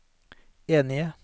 enige